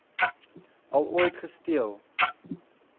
al ooit gesteel